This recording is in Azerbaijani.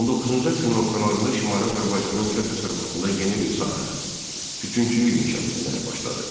19-cu əsrin ortalarında Şimali Azərbaycanın kənd təsərrüfatında yeni bir sahə - tütünçülük inkişaf etməyə başladı.